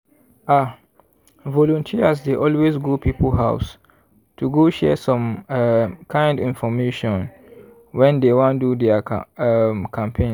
ah! volunteers dey always go people house to go share some um kind infomation when dey wan do their um campaigns.